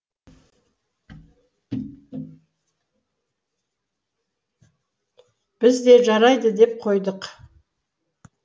біз де жарайды деп қойдық